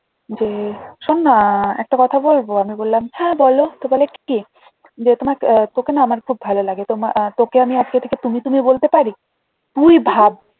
যে শোননা একটা কথা বলবো আমি বললাম হ্যাঁ বল তো বলে কি যে তোমার আহ তোকে না আমার খুব ভালো লাগে তো আহ তোকে আমি আজকে থেকে তুমি তুমি বলতে পারি তুই ভাব